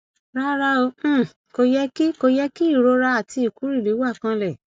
rárá o um kò yẹ kí kò yẹ kí ìrora àti ìkúrìrì wà kanlẹ